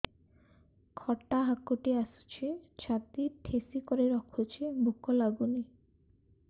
ଖଟା ହାକୁଟି ଆସୁଛି ଛାତି ଠେସିକରି ରଖୁଛି ଭୁକ ଲାଗୁନି